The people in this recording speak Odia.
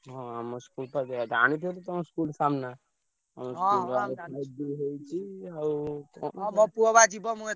ହଁ ଆମ school ହେଇଯାଇଛି ଜାଣିଥିବ ତ ତମ school ସାମ୍ନା। ଆମ ହେଇଛି ଆଉ କଣ ।